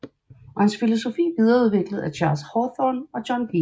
Og hans filosofi videreudviklet af Charles Hartstorne og John B